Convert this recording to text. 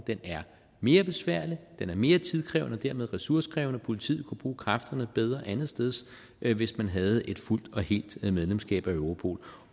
er mere besværlig den er mere tidkrævende og dermed ressourcekrævende politiet kunne bruge kræfterne bedre andetsteds hvis man havde et fuldt og helt medlemskab af europol